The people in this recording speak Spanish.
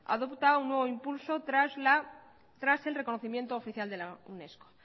adopta un nuevo impulso tras el reconocimiento oficial de la unesco